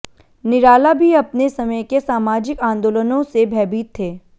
निराला भी अपने समय के सामाजिक आन्दोलनों से भयभीत थे